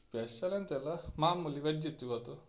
Special ಎಂತ ಇಲ್ಲ ಮಾಮೂಲಿ veg ಇತ್ತು ಇವತ್ತು.